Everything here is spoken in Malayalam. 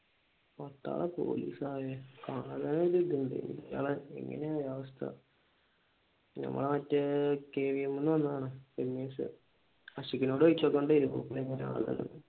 പട്ടാളം പോലീസയെ ഇയാളെ എങ്ങനെ അവസ്ഥ ഞമ്മടെ മറ്റേ KVM ന്ന് വന്നതാണ് ഗണേഷ് ആഷിഖിനോട് ചോദിച്ചുനോക്കേണ്ടതാരുന്നു പുള്ളി എങ്ങാനുണ്ടെന്ന്